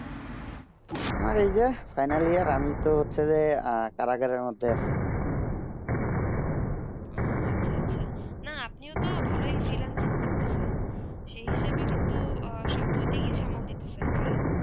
আমার এই যে final year আমি তো হচ্ছে যে কারাগার মদদে আছি না আপিন তো ভালো freelancing করতেছেন সেই হিসাবে কিন্তু সব দুই দিক সোমাল দিচ্ছেন ভালো